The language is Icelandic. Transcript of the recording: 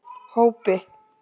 Hópi